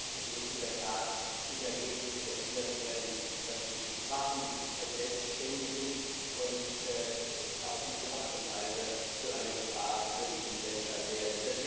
Es muss in der Tat im Ergebnis verhindert werden, dass sich Waffen verselbständigen und auf diese Art und Weise zu einer Gefahr für die Menschheit werden.